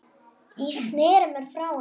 Ég sneri mér frá henni.